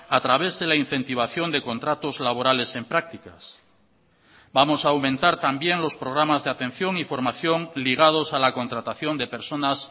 a través de la incentivación de contratos laborales en prácticas vamos a aumentar también los programas de atención y formación ligados a la contratación de personas